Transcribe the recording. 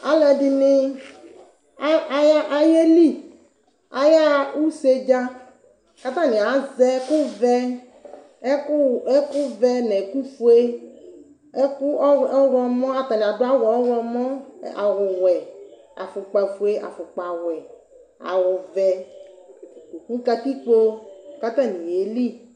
Alʋ ɛdini ayeli ayaxa ʋse dza kʋ atani azɛ ɛkʋvɛ nʋ ɛkʋfue kʋ atani adʋ awʋ ɔwlɔmɔ awʋwɛ afukpa fʋe afukpawɛ awʋvɛ nʋ katikpo kʋ atani yeli